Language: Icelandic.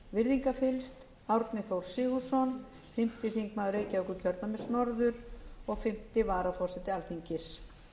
virðingarfyllst árni þór sigurðsson fimmti þingmaður reykjavíkurkjördæmis norður og fimmta varaforseti alþingis